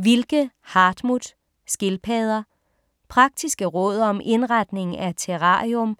Wilke, Hartmut: Skildpadder Praktiske råd om indretning af terrarium,